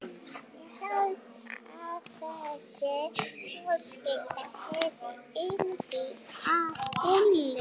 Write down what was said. Ég hélt að þessi fjölskylda hefði yndi af bulli.